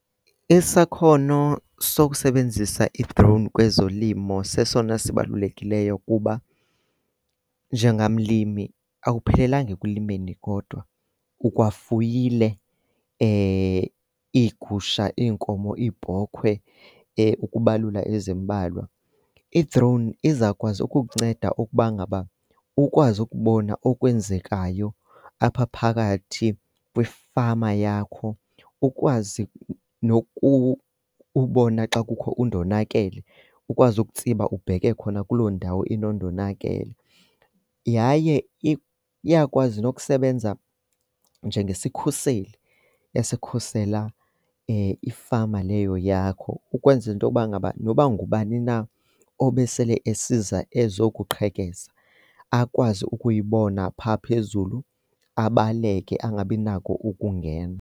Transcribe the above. Isakhono sokusebenzisa i-drone kwezolimo sesona sibalulekileyo kuba njengamlimi awuphelelanga ekulimeni kodwa, ukwafuyile iigusha, iinkomo, iibhokhwe ukubalula ezimbalwa. I-drone izawukwazi ukukunceda ukuba ngaba ukwazi ukubona okwenzekayo apha phakathi kwifama yakho, ukwazi ubona xa kukho undonakele ukwazi ukutsiba ubheke khona kuloo ndawo inondonakele. Yaye iyakwazi nokusebenza njengesikhuseli esikhusela ifama leyo yakho ukwenzela into yokuba ngaba noba ngubani na obesele esiza ezokuqhekeza, akwazi ukuyibona phaa phezulu abaleke angabi nako ukungena.